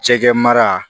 Jɛgɛ mara